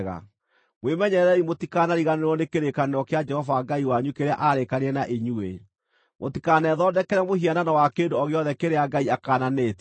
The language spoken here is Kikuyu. Mwĩmenyererei mũtikariganĩrwo nĩ kĩrĩkanĩro kĩa Jehova Ngai wanyu kĩrĩa aarĩkanĩire na inyuĩ; mũtikanethondekere mũhianano wa kĩndũ o gĩothe kĩrĩa Ngai akaananĩtie.